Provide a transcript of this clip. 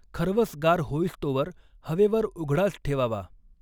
खरवस गार होईस्तोवर हवेवर उघडाच ठेवावा.